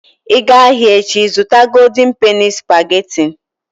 Ị gaa ahịa echi, zụta golden penny spageti.